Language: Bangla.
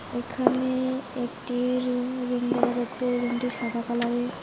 এখানে একটি রুম রুম দেখা যাচ্ছে রুমটি সাদা কালারের।